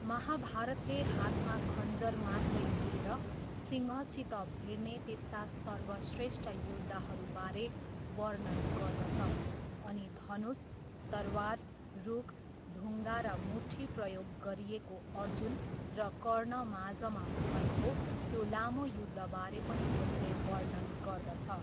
महाभारतले हातमा खञ्जर मात्रै लिएर सिंहसित भिड्ने त्यस्ता सर्वश्रेष्ठ योद्धाहरूबारे वर्णन गर्दछ अनि धनुष, तरवार, रुख, ढुङ्गा र मुट्ठी प्रयोग गरिएको अर्जुन र कर्णमाझमा भएको त्यो लामो युद्धबारे पनि यसले वर्णन गर्दछ।